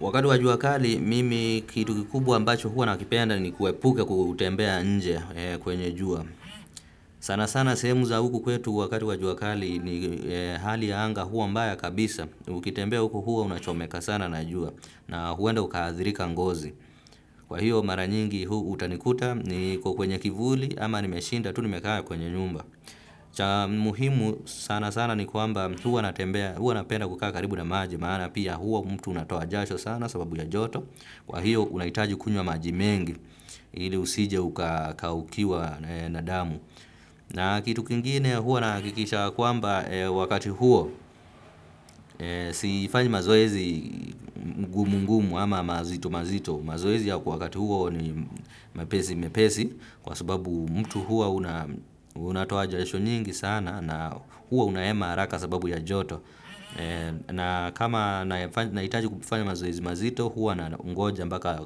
Wakati wa jua kali, mimi kitu kikubwa ambacho huwa nakipenda ni kuepuka kutembea inje kwenye jua. Sana sana sehemu za huku kwetu wakati wa jua kali ni hali ya anga huwa mbaya kabisa. Ukitembea huku huwa unachomeka sana na jua na huenda uka athirika ngozi. Kwa hiyo mara nyingi huu utanikuta niko kwenye kivuli ama nimeshinda tu nimekaa kwenye nyumba. Cha muhimu sana sana ni kwamba huwa natembea huwa napenda kukaa karibu na maji maana pia huwa mtu unatoa jasho sana sababu ya joto kwa hiyo unahitaji kunywa maji mengi ili usije ukakaukiwa na damu. Na kitu kingine huwa nahakikisha kwamba wakati huo sifanyi mazoezi ngumu ngumu ama mazito mazito. Mazoezi ya wakati huo ni mepesi mepesi kwa sababu mtu hua unatoa jasho nyingi sana na hua unahema haraka sababu ya joto. Na kama nahitaji kufanya mazoezi mazito huwa nangoja mpaka